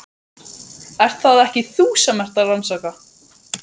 Ert það ekki þú sem ert að rannsaka.